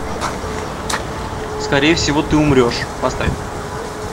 скорее всего ты умрешь поставь